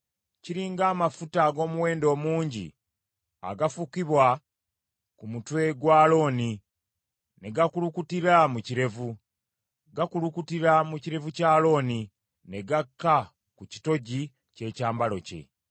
Kiri ng’amafuta ag’omuwendo omungi agafukibwa ku mutwe gwa Alooni ne gakulukutira mu kirevu; gakulukutira mu kirevu kya Alooni, ne gakka ku kitogi ky’ebyambalo bye.